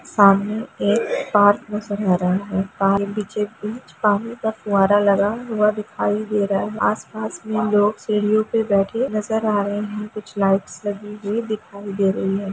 पानी एक पार्क में से बह रहा है बीचों-बीच पानी का फवारा लगा हुआ दिखाई दे रहा है आस-पास लोग सीढ़ीओ पर बैठे नजर आ रहे हैं कुछ लाइट्स लगी हुई दिखाई दे रही है।